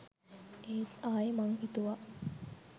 ඒත් ආයෙ මං හිතුවා .